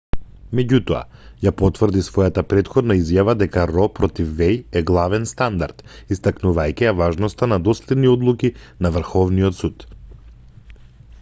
меѓутоа ја потврди својата претходна изјава дека ро против веј е главен стандард истакнувајќи ја важноста на доследни одлуки на врховниот суд